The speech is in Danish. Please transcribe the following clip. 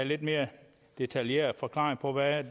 lidt mere detaljeret forklaring på hvad